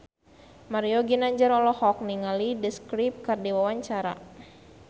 Mario Ginanjar olohok ningali The Script keur diwawancara